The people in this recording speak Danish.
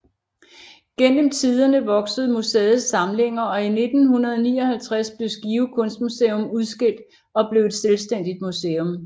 Gennem tiderne voksede museets samlinger og i 1959 blev Skive Kunstmuseum udskilt og blev et selvstændigt museum